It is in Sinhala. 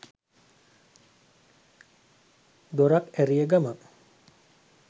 දොරක් ඇරිය ගමන්